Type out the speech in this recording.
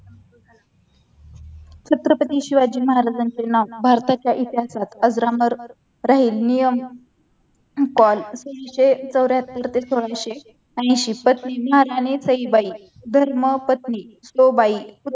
छत्रपती शिवाजी महाराजांचे नाव भारताच्या इतिहासात अजरामर राहील नियम कॉल तीनशे चौऱ्याहत्तर ते सोळाशे ऐंशी पत्नी महाराणी सईबाई धर्मपत्नी सो बाई